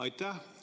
Aitäh!